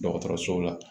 Dɔgɔtɔrɔso la